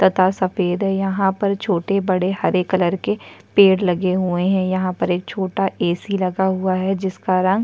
तथा सफ़ेद हैं यह पर छोटे- बड़े हरे कलर के पेड़ लगे हुए हैं यह पर एक छोटा ए. सी. लगा हुआ है जिसका रंग --